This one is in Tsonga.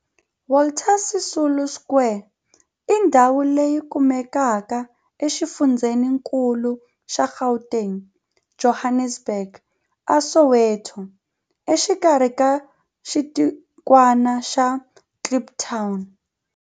Walter Sisulu Square i ndhawu leyi kumekaka exifundzheni-nkulu xa Gauteng, Johannesburg, a Soweto, exikarhi ka xitikwana xa Kliptown.